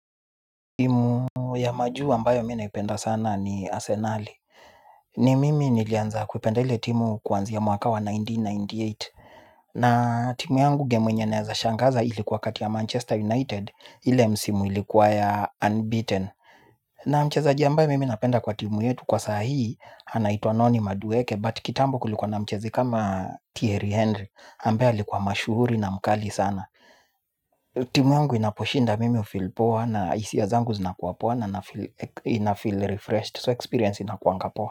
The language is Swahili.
Timu ya majuu ambayo mi naipenda sana ni arsenali. Ni mimi nilianza kupenda ile timu kwanzia mwaka wa elfu moja na mia tisa na tisini na nane. Na timu yangu gemu yenye naezashangaza ilikuwa kati ya Manchester United. Ile msimu ilikuwa ya unbeaten. Na mchezaji ambaye mimi napenda kwa timu yetu kwa sahii anaitwa noni madueke but kitambo kulikuwa na mchezi kama Thierry Henry Ambaye alikuwa mashuhuri na mkali sana. Timu yangu inaposhinda mimi hu feel poa na hisia zangu zinakuwa poa. Na inafeel refreshed So experience inakuanga poa.